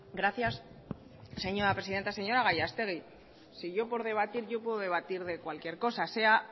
gracias señora presidenta señora gallastegui si por debatir yo puedo debatir de cualquier cosa sea